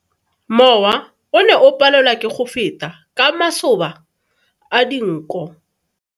Mowa o ne o palelwa ke go feta ka masoba a dinko.